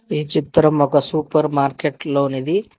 ఈ చిత్రం ఒక సూపర్ మార్కెట్లో నిది.